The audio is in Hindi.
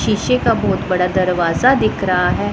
शीशे का बहोत बड़ा दरवाजा दिख रहा है।